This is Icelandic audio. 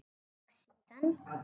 Og síðan?